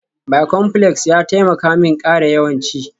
Bicomplex ya taimaka min ƙara yawan ci